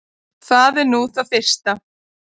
Það er nú það fyrsta.